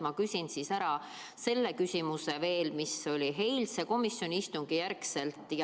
Ma küsin hoopis selle küsimuse, mis tekkis pärast eilset komisjoni istungit.